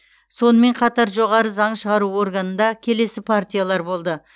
сонымен қатар жоғары заң шығару органында келесі партиялар болды